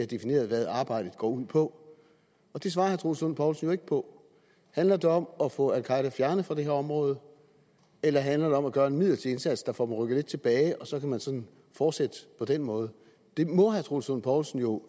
defineret hvad arbejdet går ud på og det svarede herre troels lund poulsen jo ikke på handler det om at få al qaeda fjernet fra det her område eller handler det om at gøre en midlertidig indsats der får dem rykket lidt tilbage og så kan man sådan fortsætte på den måde det må herre troels lund poulsen jo